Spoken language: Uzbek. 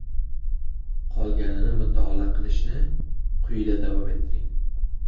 Qolganini mutolaa qilishni quyida davom ettiring.